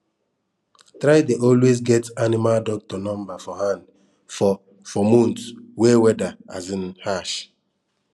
try dey always get animal doctor number for hand for for months wey weather um harsh